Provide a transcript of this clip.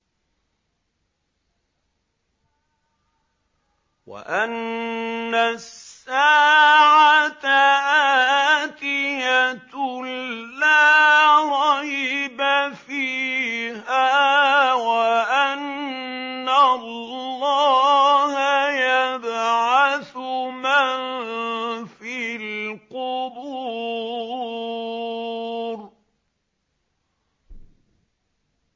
وَأَنَّ السَّاعَةَ آتِيَةٌ لَّا رَيْبَ فِيهَا وَأَنَّ اللَّهَ يَبْعَثُ مَن فِي الْقُبُورِ